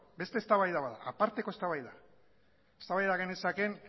beste eztabaida bat da aparteko eztabaida eztabaida genezakeen